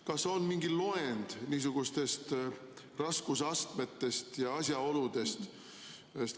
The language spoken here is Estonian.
Kas on mingi loend niisugustest raskusastmetest ja asjaoludest?